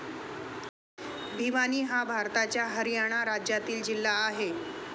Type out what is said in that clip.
भिवानी हा भारताच्या हरियाणा राज्यातील जिल्हा आहे.